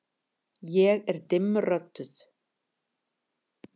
Ég er dimmrödduð.